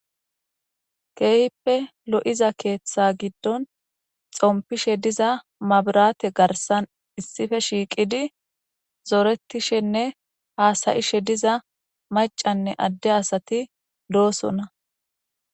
Keehippe lo'iza keeththa giddon xompishe diza mabirate garsan issife shiiqidi zoretishenne haasayishe diza macanne adde asati doosonna.